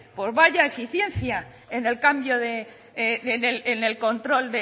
pues vaya eficiencia en el control